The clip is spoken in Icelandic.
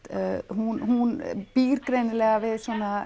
hún hún býr greinilega við